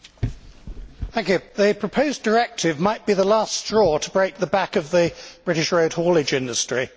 Mr President, the proposed directive might be the last straw to break the back of the British road haulage industry.